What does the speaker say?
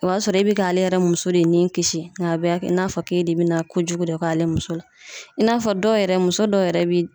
O b'a sɔrɔ e be k'ale yɛrɛ muso de nin kisi nga a bɛ a kɛ n'a fɔ k'e de be na kojugu de k'ale muso la i n'a fɔ dɔw yɛrɛ muso dɔw yɛrɛ be